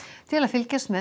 til að fylgjast með